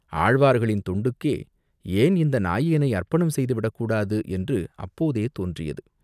ஆழ்வார்களின் தொண்டுக்கே ஏன் இந்த நாயேனை அர்ப்பணம் செய்து விடக்கூடாது என்று அப்போதே தோன்றியது.